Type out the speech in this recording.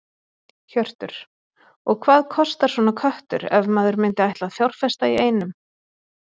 Hjörtur: Og hvað kostar svona köttur ef maður myndi ætla að fjárfesta í einum?